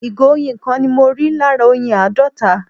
ìgò oyin kan ni mọ rí lára oyin àádọta